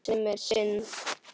Sem er synd.